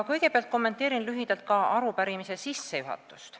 Kõigepealt kommenteerin lühidalt arupärimise sissejuhatust.